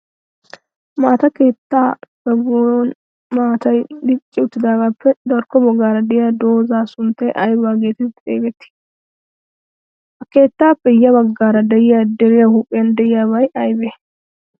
Maata keettaa zagon maatay dicci uttidaagappe darkko baggaara diya dozzay sunttay ayiba geetetti xeegettii? Ha keettaappe ya baggaara diya flderiyaa huuphiyan diyaabay ayibee?